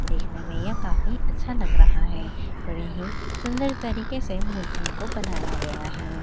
कृष्णमैया काफी अच्छा लग रहा है बड़े ही सुंदर तरीके से मूर्तियों को बनाया गया है।